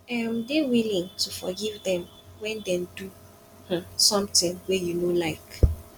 um dey willing to forgive dem when dey do um something wey you no like